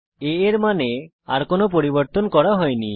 a এর মানে আর কোনো পরিবর্তন করা হয়নি